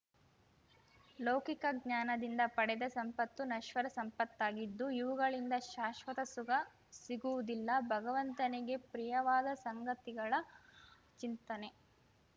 ಲೌಕಿಕ ಜ್ಞಾನದಿಂದ ಪಡೆದ ಸಂಪತ್ತು ನಶ್ವರ ಸಂಪತ್ತಾಗಿದ್ದು ಇವುಗಳಿಂದ ಶಾಶ್ವತ ಸುಖ ಸಿಗುವುದಿಲ್ಲ ಭಗವಂತನಿಗೆ ಪ್ರಿಯವಾದ ಸಂಗತಿಗಳ ಚಿಂತನೆ